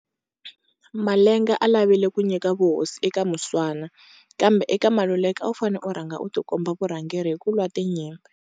Malenga a lavile ku nyika vuhosi eka Muswana kambe eka Maluleke a wu fane u rhanga u ti komba vurhangeri hi ku lwa tinyimpi.